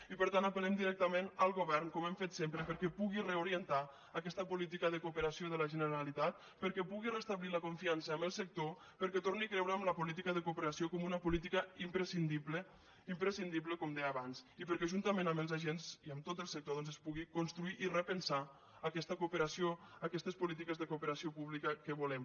i per tant apel·lem directament al govern com hem fet sempre perquè pugui reorientar aquesta política de cooperació de la generalitat perquè pugui restablir la confiança amb el sector perquè torni a creure en la política de cooperació com una política imprescindible imprescindible com deia abans i perquè juntament amb els agents i amb tot el sector doncs es pugui construir i repensar aquesta cooperació aquestes polítiques de cooperació pública que volem